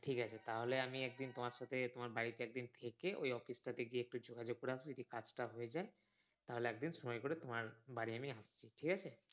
ঠিক আছে তাহলে আমি একদিন তোমার সাথে তোমার বাড়িতে একদিন থেকে ওই office টাতে গিয়ে একটু যোগাযোগ করে আসবো যদি কাজ টা হয়ে যাই তাহলে একদিন সময় করে তোমার বাড়ি গিয়ে ঠিক আছে